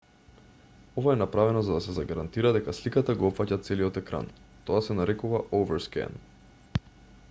ова е направено за да се загарантира дека сликата го опфаќа целиот екран тоа се нарекува overscan